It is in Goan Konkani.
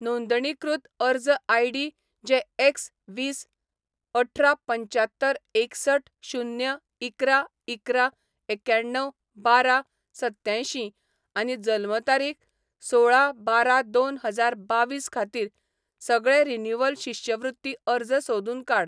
नोंदणीकृत अर्ज आयडी जे एक्स वीस अठरा पंच्यात्तर एकसठ शून्य इकरा इकरा एक्याण्णव बारा सत्त्यांयशीं आनी जल्म तारीख सोळा बारा दोन हजार बावीस खातीर, सगळे रिन्यूवल शिश्यवृत्ती अर्ज सोदून काड.